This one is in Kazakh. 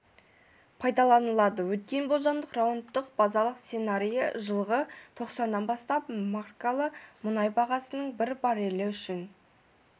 пайдаланылады өткен болжамдық раундтың базалық сценарийі жылғы тоқсаннан бастап маркалы мұнай бағасының бір баррельі үшін